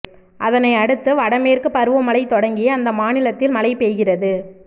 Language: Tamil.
அதனையடுத்து வடமேற்கு பருவமழை தொடங்கி அந்த மாநிலத்தில் மழை பெய்கிறது